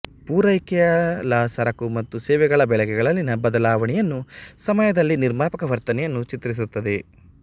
ಪೂರೈಕೆಯ ಲಾ ಸರಕು ಮತ್ತು ಸೇವೆಗಳ ಬೆಲೆಗಳಲ್ಲಿನ ಬದಲಾವಣೆಯನ್ನು ಸಮಯದಲ್ಲಿ ನಿರ್ಮಾಪಕ ವರ್ತನೆಯನ್ನು ಚಿತ್ರಿಸುತ್ತದೆ